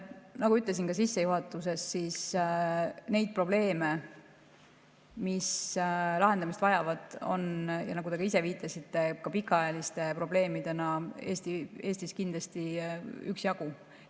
Nagu ütlesin ka sissejuhatuses, neid probleeme, mis lahendamist vajavad, ja nagu te ise viitasite, ka pikaajalisi probleeme on Eestis kindlasti üksjagu.